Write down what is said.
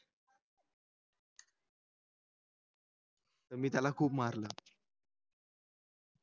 मी त्याला खूप मारल